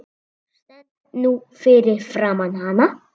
Stend nú fyrir framan hana.